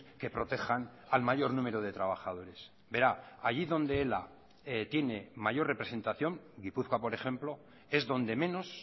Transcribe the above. que protejan al mayor número de trabajadores verá allí donde ela tiene mayor representación gipuzkoa por ejemplo es donde menos